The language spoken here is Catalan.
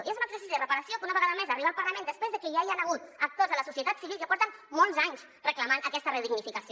i és un exercici de reparació que una vegada més d’arribar al parlament després de que ja hi han hagut actors de la societat civil que porten molts anys reclamant aquesta dignificació